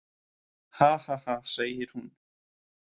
Hahaha, segir hún.